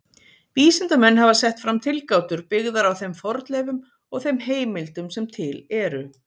Vísindamenn hafa sett fram tilgátur byggðar á þeim fornleifum og þeim heimildum sem til eru.